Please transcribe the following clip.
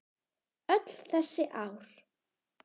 Öll þessi ár?